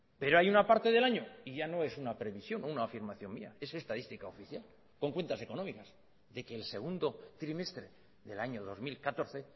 pero hay una parte del año y ya no es una previsión o una afirmación mía es estadística oficial con cuentas económicas de que el segundo trimestre del año dos mil catorce